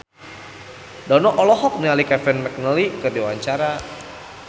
Dono olohok ningali Kevin McNally keur diwawancara